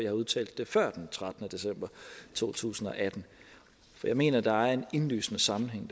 har udtalt det før den trettende december to tusind og atten for jeg mener at der er en indlysende sammenhæng